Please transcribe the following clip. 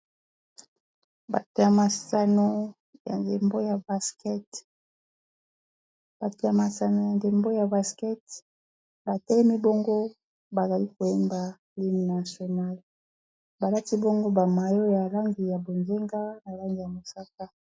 bato ya masano ya ndembo ya basket bato ya masano ya ndembo ya basketball batelemi bongo bazali koyemba hymne nationale. balati bongo bamayo ya langi ya bozenga na langi ya mosaka